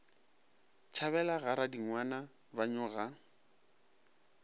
tšhabela ga radingwana ba nyoga